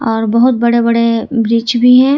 और बहुत बड़े बड़े वृक्ष भी हैं।